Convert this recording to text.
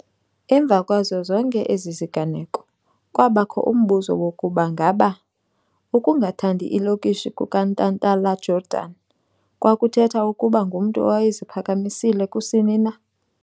Emva kwazo zonke ezi ziganeko, kwabakho umbuzo wokuba ngaba, ukungathandi ilokishi kukaNtantala-Jordan kwakuthetha ukuba ngumntu owayeziphakamisile kusini na?